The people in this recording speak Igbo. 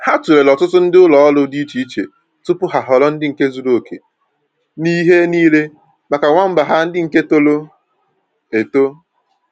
Ha tulere ọtụtụ ndị ụlọ ọrụ dị iche iche tupu ha ahọrọ ndị nke zuru okè n'ihe niile maka nwamba ha ndị nke toro eto